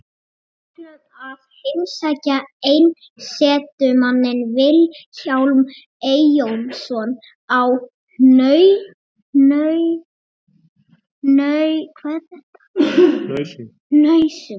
Við ætlum að heimsækja einsetumanninn Vilhjálm Eyjólfsson á Hnausum.